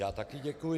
Já také děkuji.